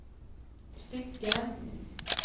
stycken